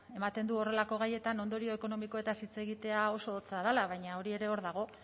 eaten du horrelako gaietan ondorio ekonomikoetaz hitz egitea oso hotza dela baina hori ere hor dago